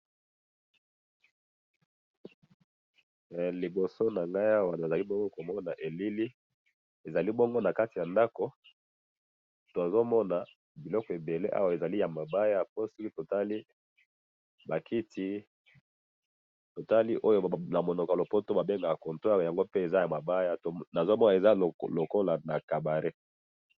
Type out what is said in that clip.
liboso nangai awa nazali bongo komona elili, ezali bongo nakati ya ndako tozomona biloko ebele awa ezali ya mabaya, pe siko totali bakiti totali oyo namonoko ya lopoto babengaka comptoir yango, pe eza ya mabaya, nazomona eza lokolo ya cabaret